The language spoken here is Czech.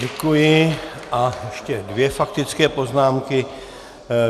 Děkuji a ještě dvě faktické poznámky.